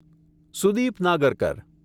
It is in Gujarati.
સુદીપ નાગરકર